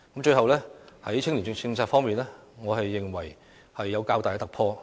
在青年政策方面，我認為有較大突破。